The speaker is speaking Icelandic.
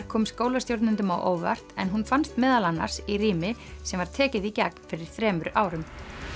kom skólastjórnendum á óvart en hún fannst meðal annars í rými sem var tekið í gegn fyrir þremur árum